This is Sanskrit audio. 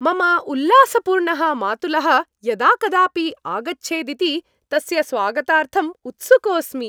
मम उल्लासपूर्णः मातुलः यदा कदापि आगच्छेदिति, तस्य स्वागतार्थं उत्सुकोऽस्मि।